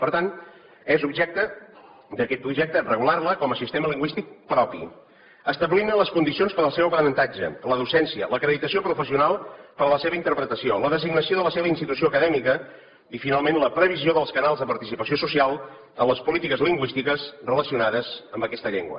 per tant és objecte d’aquest projecte regular la com a sistema lingüístic propi establint ne les condicions per al seu aprenentatge la docència l’acreditació professional per a la seva interpretació la designació de la seva institució acadèmica i finalment la previsió dels canals de participació social en les polítiques lingüístiques relacionades amb aquesta llengua